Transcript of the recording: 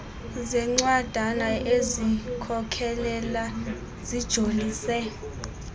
zencwadana ezizikhokelo zijolise